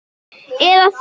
eða sem